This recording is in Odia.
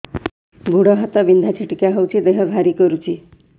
ଗୁଡ଼ ହାତ ବିନ୍ଧା ଛିଟିକା ହଉଚି ଦେହ ଭାରି କରୁଚି